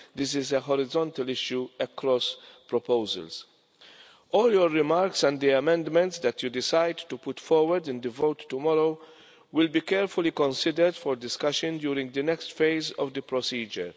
This is a horizontal issue across proposals. All your remarks and the amendments that you decide to put forward in the vote tomorrow will be carefully considered for discussion during the next phase of the procedure.